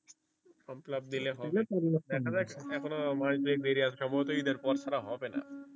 form fill up দিলে হবে দ্যাখা যাক এখনও মাস দুই এক দেরি আছে সম্ভবত ইদের পর ছাড়া হবে না।